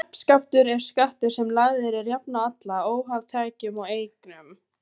Nefskattur er skattur sem lagður er jafnt á alla, óháð tekjum og eignum.